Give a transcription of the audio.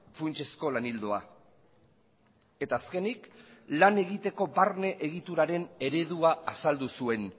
funtsezko lan ildoa eta azkenik lan egiteko barne egituraren eredua azaldu zuen